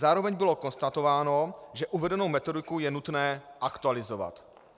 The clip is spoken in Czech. Zároveň bylo konstatováno, že uvedenou metodiku je nutné aktualizovat.